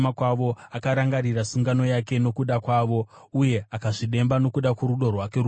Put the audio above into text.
akarangarira sungano yake nokuda kwavo, uye akazvidemba nokuda kworudo rwake rukuru.